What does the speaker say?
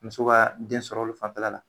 Muso ka den sɔrɔ olu fanfɛla la